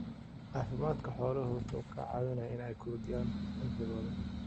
Caafimaadka xooluhu waxa uu ka caawiyaa in ay kordhiyaan cimrigooda.